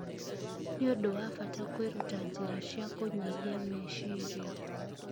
nĩ ũndũ wa bata kwĩruta njĩra cia kũnyihia meciria